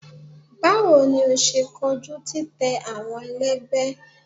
Bawo ni o ṣe koju titẹ awọn ẹlẹgbẹ?